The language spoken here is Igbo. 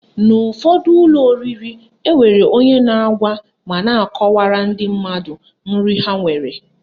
N'ụfọdụ ụlọ oriri, enwere onye na-agwa ma na-akọwara ndị mmadụ nri ha nwere